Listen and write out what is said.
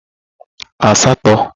asato